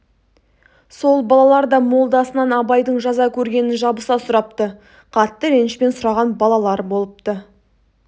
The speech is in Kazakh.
сол балалар да молдасынан абайдың жаза көргенін жабыса сұрапты қатты ренішпен сұраған балалар болыпты